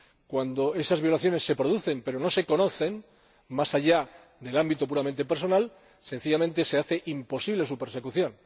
Cuando esas violaciones se producen pero no se conocen, más allá del ámbito puramente personal, sencillamente se hace imposible su persecución.